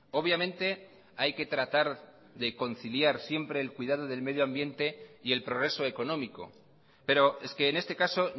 obviamente hay que tratar de conciliar siempre el cuidado del medio ambiente y el progreso económico pero es que en este caso